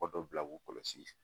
dɔ bila k'u kɔlɔsi